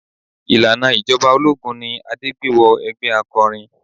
Ìlànà ìjọba ológun ni Adé gbé wọ ẹgbẹ́ akọrin.